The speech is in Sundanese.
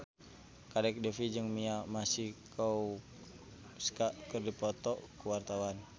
Kadek Devi jeung Mia Masikowska keur dipoto ku wartawan